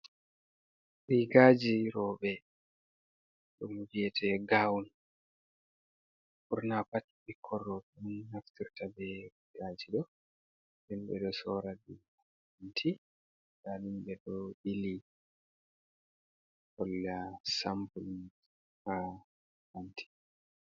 Rigaaji rowɓe ɗum wyete gawun ɓurna pat ɓikkoy rowɓe on ɗon naftirta be rigaaji ɗo. Himɓe ɗo soora ɗi ha kanti nda ɗum ɓe ɗo ɓili holla sampul ha kanti.